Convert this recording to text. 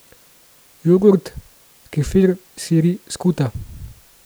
Jogurt, kefir, siri, skuta.